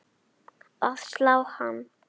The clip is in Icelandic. að slá hann.